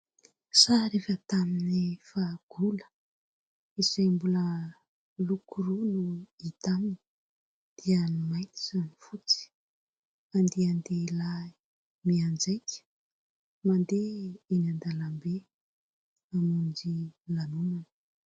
Sary efa tamin'ny fahagola, izay mbola loko roa no hita aminy, dia ny mainty sy ny fotsy. Andian-dehilahy mianjaika, mandeha eny an-dalambe hamonjy lanonana.